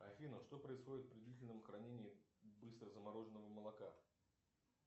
афина что происходит при длительном хранении быстро замороженного молока